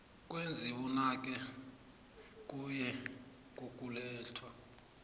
kwezibunane kuye ngokulethwa